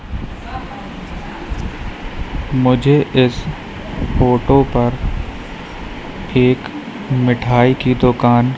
मुझे इस फोटो पर एक मिठाई की दुकान--